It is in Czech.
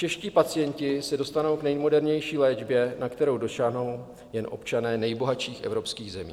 Čeští pacienti se dostanou k nejmodernější léčbě, na kterou dosáhnou jen občané nejbohatších evropských zemí.